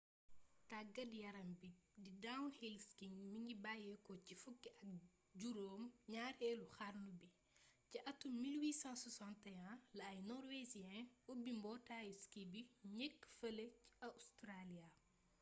taggat yarambi bi di downhill skiing mingi bayyéko ci fukk ak juroom gnarélu xarnu bi ci attum 1861 la ay norwegians ubbi mbotayu ski bu njeekk fële ca australia